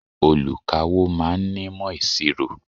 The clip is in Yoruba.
Olùkawó ma ń nímọ̀ ìṣirò.